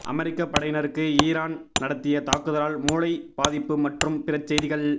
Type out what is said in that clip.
அமெரிக்க படையினருக்கு இரான் நடத்திய தாக்குதலால் மூளை பாதிப்பு மற்றும் பிற செய்திகள்